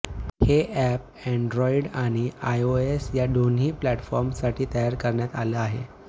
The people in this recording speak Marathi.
हे अॅप अँड्रॉईड आणि आयओएस या दोन्ही प्लॅटफॉर्मसाठी तयार करण्यात आलं आहे